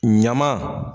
Ɲaman